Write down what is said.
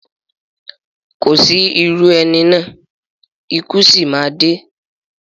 Kò sí irú ẹni náà, ikú sì má a dé